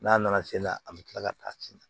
N'a nana sen na a bi kila ka taa sen na